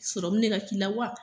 de ka k'i la wa?